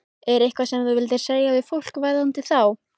Er eitthvað sem þú vilt segja við fólk varðandi þá?